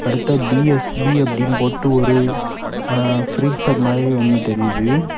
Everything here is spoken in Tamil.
அடுத்த பி_எஸ்_பி அப்படின்னு போட்டு ஒரு ஃப்ரீசர் மாதிரி ஒன்னு தெரியுது.